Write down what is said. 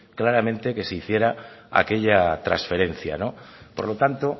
claramente que se hiciera aquella transferencia por lo tanto